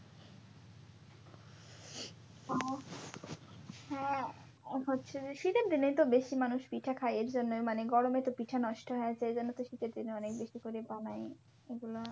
হ্যাঁ হ্যাঁ হচ্ছে যে শীতের দিনেতো বেশি মানুষ পিঠা খাই এইজন্যেই মানে গরমে তো পিঠা নষ্ট হয়া য়ায সেজন্যে তো শীতের দিনে অনেক বেশি করে বানাই এগুলো।